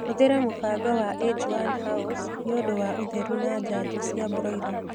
Hũthĩla mũbango wa age - one house niũndũ wa ũtheru na njanjo cia broila